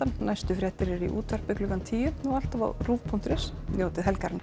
næstu fréttir eru í útvarpi klukkan tíu og alltaf á rúv punktur is njótið helgarinnar